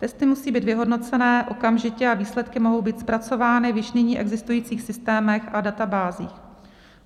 Testy musí být vyhodnoceny okamžitě a výsledky mohou být zpracovány v již nyní existujících systémech a databázích.